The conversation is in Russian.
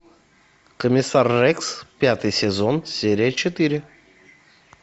комиссар рекс пятый сезон серия четыре